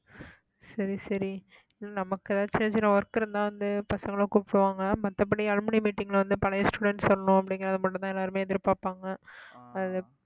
சரி சரி நமக்கு ஏதாச்சும் சின்ன சின்ன work இருந்தா வந்து பசங்களை கூப்பிடுவாங்க மத்தபடி alumni meeting ல வந்து பழைய students சொல்லணும் அப்படிங்கிறதை மட்டும்தான் எல்லாருமே எதிர்பார்ப்பாங்க அது